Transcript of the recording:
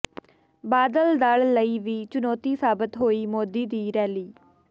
ਬਾਦਲ ਦਲ ਲਈ ਵੀ ਚੁਨੌਤੀ ਸਾਬਤ ਹੋਈ ਮੋਦੀ ਦੀ ਰੈਲੀ